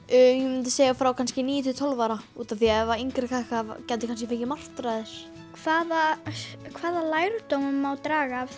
ég myndi segja frá kannski níu til tólf ára út af því að yngir krakkar gætu kannski fengið martraðir hvaða hvaða lærdóm má draga af